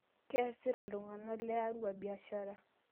Keesita ltung'ana le Arua biashara